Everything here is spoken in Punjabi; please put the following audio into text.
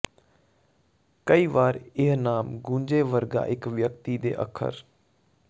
ਕਈ ਵਾਰ ਇਹ ਨਾਮ ਗੂੰਜੇ ਵਰਗਾ ਇੱਕ ਵਿਅਕਤੀ ਦੇ ਅੱਖਰ